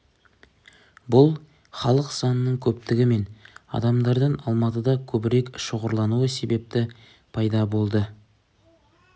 бұл халық санының көптігі мен адамдардың алматыда көбірек шоғырлануы себепті пайда болды